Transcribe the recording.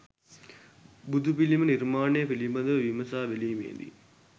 බුදුපිළිම නිර්මාණය පිළිබඳව විමසා බැලීමේදී